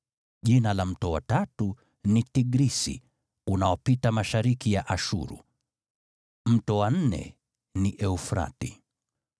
Jina la mto wa tatu ni Tigrisi, unaopita mashariki ya Ashuru. Mto wa nne ni Frati.